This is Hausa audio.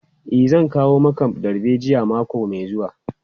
E, zan kawo maka darbejiyan mako mai zuwa.